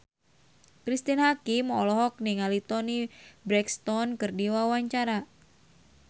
Cristine Hakim olohok ningali Toni Brexton keur diwawancara